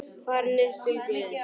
Farin upp til Guðs.